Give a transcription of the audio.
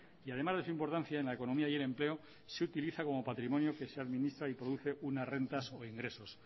y además de su importancia en la economía y el empleo se utiliza como patrimonio que se administra y produce unas rentas o ingresos